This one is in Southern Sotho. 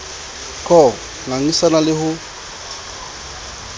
c ho ngangisana le ho